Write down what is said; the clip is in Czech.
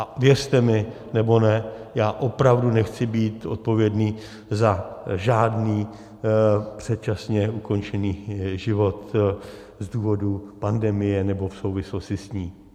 A věřte mi nebo ne, já opravdu nechci být odpovědný za žádný předčasně ukončený život z důvodu pandemie nebo v souvislosti s ní.